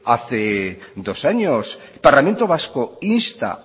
hace dos años parlamento vasco insta